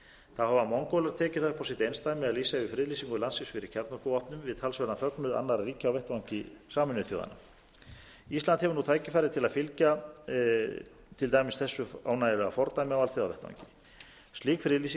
þá hafa mongólar tekið það upp á sitt einsdæmi að lýsa yfir friðlýsingu landsins fyrir kjarnorkuvopnum við talsverðan fögnuð annarra ríkja á vettvangi sameinuðu þjóðanna ísland hefur nú tækifæri til að fylgja til dæmis þessu ánægjulega fordæmi á alþjóðavettvangi slík friðlýsing